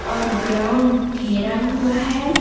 और ग्राउंड घेरा हुआ है।